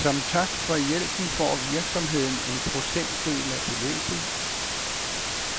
Som tak for hjælpen får virksomheden en procentdel af beløbet.